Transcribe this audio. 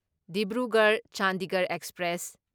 Dibrugarh Chandigarh express